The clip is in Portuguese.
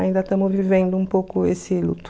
Ainda estamos vivendo um pouco esse luto.